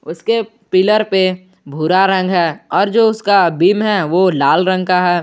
उसके पिलर पे भूरा रंग है और जो उसका भी है वो लाल रंग का है।